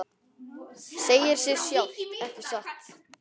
Segir sig sjálft, ekki satt?